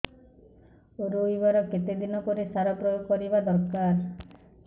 ରୋଈବା ର କେତେ ଦିନ ପରେ ସାର ପ୍ରୋୟାଗ କରିବା ଦରକାର